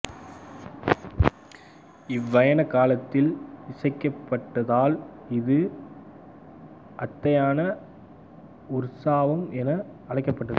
இவ்வயண காலத்தில் இசைக்கப்படுவதால் இது அத்யயண உற்சவம் என அழைக்கப்பட்டது